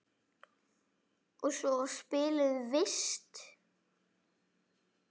Og svo var spiluð vist.